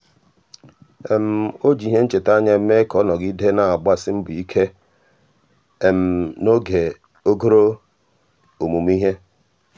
ọ́ jì ìhè nchètà ányá mee ka ọ́ nọ́gídè nà-àgbàsí mbọ̀ ike n’ógè ogòrò ọmụ́mụ́ ìhè.